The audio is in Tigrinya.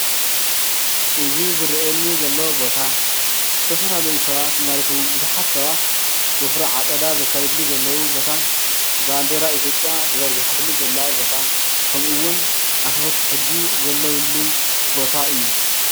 እዚ ዝረእየና ዘሎ ቦታ ዝተፈላለዩ ሰባት ማለት እውን ብዙሓት ሰባት ወፍሪ ዓፀዳ ዘካይድሉ ዘለው ቦታ ባንዴራ ኢትዮጵያ ተዘርጊሓትሉ ዘላ ቦታ ከምኡ እውን አክበርቲ ሕጊ ዘለውሉን ቦታ እዩ ።